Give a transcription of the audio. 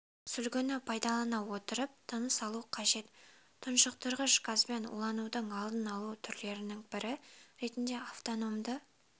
сүлгіні пайдалана отырып тыныс алу қажет тұншықтырғыш газбен уланудың алдын алу түрлерінің бірі ретінде автономды